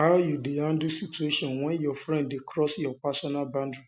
how you dey handle situation when your friend dey cross your personal boundary